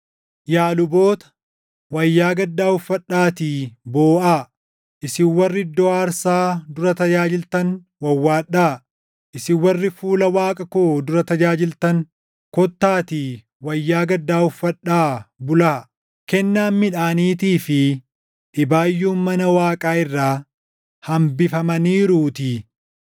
Yaa luboota, wayyaa gaddaa uffadhaatii booʼaa; isin warri iddoo aarsaa dura tajaajiltan wawwaadhaa. Isin warri fuula Waaqa koo dura tajaajiltan kottaatii wayyaa gaddaa uffadhaa bulaa; kennaan midhaaniitii fi dhibaayyuun mana Waaqaa irraa hambifamaniiruutii.